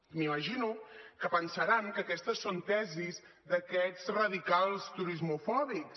m’imagino que deuen pensar que aquestes són tesis d’aquests radicals turismofòbics